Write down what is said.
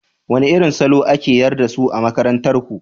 Wane irin salo ake yarda da su a makarantar ku?